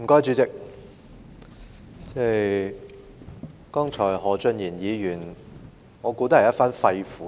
主席，我想何俊賢議員剛才說的也是一番肺腑之言。